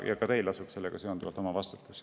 Ka teil lasub sellega seoses vastutus.